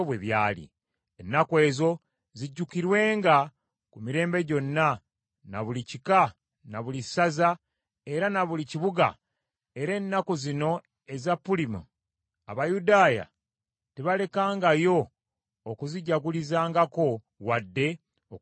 Ennaku ezo zijjukirwenga ku mirembe gyonna, na buli kika, na buli ssaza era na buli kibuga, era ennaku zino eza Pulimu, Abayudaaya tebalekangayo okuzijagulizaangako, wadde okuzeerabira.